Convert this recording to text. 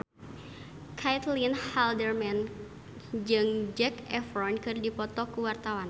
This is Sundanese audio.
Caitlin Halderman jeung Zac Efron keur dipoto ku wartawan